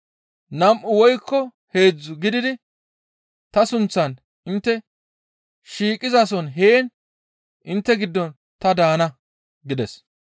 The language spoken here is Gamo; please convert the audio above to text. Nam7u woykko heedzdzu gididi ta sunththan intte shiiqizason heen intte giddon ta daana» gides.